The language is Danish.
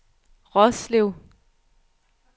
Roslev